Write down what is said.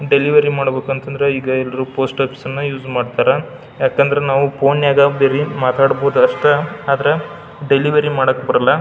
Delivery ಮಾಡಬೇಕಂತಂದ್ರ ಈಗ ಎಲ್ಲರು ಪೋಸ್ಟ್ ಆಫೀಸ್ ಅನ್ನ ಯೂಸ್ ಮಾಡ್ತಾರಾ ಯಾಕಂದ್ರ ನಾವು ಪೋನಗ ಬರಿ ಮಾತಾಡಬಹುದು ಅಷ್ಟ ಆದ್ರೆ ಡೆಲಿವರಿ ಮಾಡೋಕ್ ಬರೋಲ್ಲ.